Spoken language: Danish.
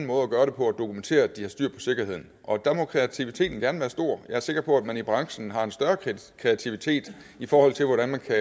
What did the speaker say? måde at gøre det på at dokumentere at de har styr på sikkerheden og der må kreativiteten gerne være stor jeg er sikker på at man i branchen har en større kreativitet i forhold til hvordan man kan